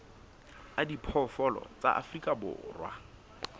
a diphoofolo tsa afrika borwa